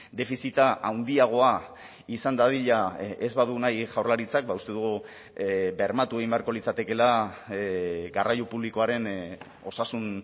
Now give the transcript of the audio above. defizita handiagoa izan dadila ez badu nahi jaurlaritzak ba uste dugu bermatu egin beharko litzatekeela garraio publikoaren osasun